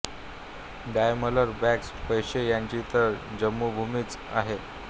Daimler Bosch Porsche यांची तर ही जन्मभूमीच आहे